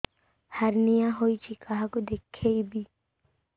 hernia ହୋଇଛି କାହାକୁ ଦେଖେଇବି